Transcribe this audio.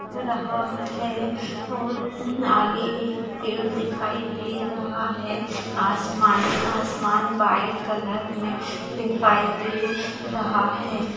रहा है और उन आगे एक पेड़ दिखाई दे रहा है आसमान आसमान व्हाइट कलर में दिखाई दे रहा है।